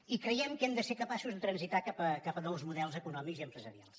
i creiem que hem de ser capaços de transitar cap a nous models econòmics i empresarials